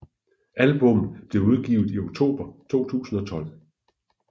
Albummet bliver udgivet i oktober 2012